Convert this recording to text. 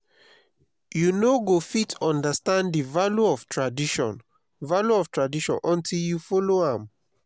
you no go fit understand the value of tradition value of tradition until you follow am.